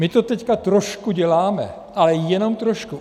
My to teď trošku děláme, ale jenom trošku.